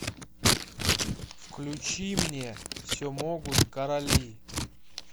включи мне все могут короли